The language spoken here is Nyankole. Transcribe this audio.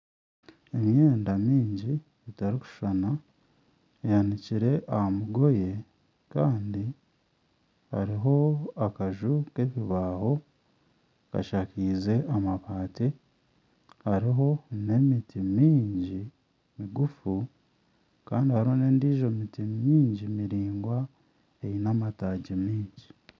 Emyenda mingi etarikushushana ehanikire aha mugoye hariho akaju k'ebibaaho kashakaize amabaati hariho n'emiti mingi migufu kandi endiijo miti mingi Eine amataagi maingi